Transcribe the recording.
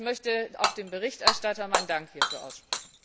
Ich möchte auch dem Berichterstatter meinen Dank hierfür aussprechen.